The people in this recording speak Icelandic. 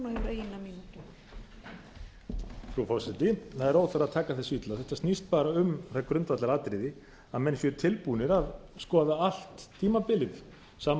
frú forseti það er óþarfi að taka þessu illa þetta snýst bara um það grundvallaratriði að menn séu tilbúnir að skoða allt tímabilið sama